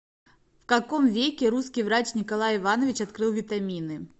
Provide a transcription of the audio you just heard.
в каком веке русский врач николай иванович открыл витамины